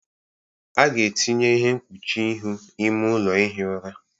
A ga-etinye ihe mkpuchi ihu ime ụlọ ihi ụra